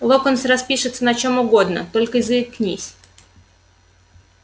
локонс распишется на чем угодно только заикнись